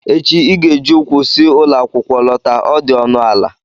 Echi ị ga-eji ụkwụ si ụlọ akwụkwọ lọta, ọ dị ọnụ ala!